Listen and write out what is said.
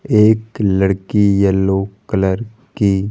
एक लड़की yellow colour की --